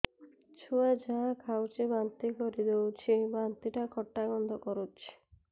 ଛୁଆ ଯାହା ଖାଉଛି ବାନ୍ତି କରିଦଉଛି ବାନ୍ତି ଟା ଖଟା ଗନ୍ଧ କରୁଛି